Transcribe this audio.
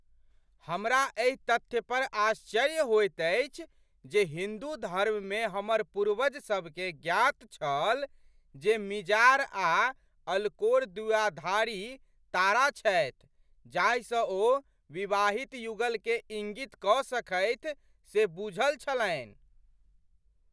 हमरा एहि तथ्य पर आश्चर्य होइत अछि जे हिन्दू धर्म मे हमर पूर्वजसभकेँ ज्ञात छल जे मिजार आ अल्कोर द्विआधारी तारा छथि जाहि सँ ओ विवाहित युगलकेँ इङ्गित कऽ सकथि से बूझल छलन्हि।